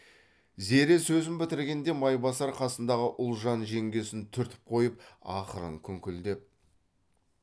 зере сөзін бітіргенде майбасар қасындағы ұлжан жеңгесін түртіп қойып ақырын күңкілдеп